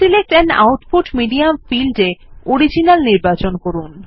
select an output medium field এ original নির্বচন করুন